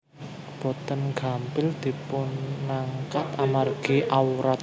Boten gampil dipunangkat amargi awrat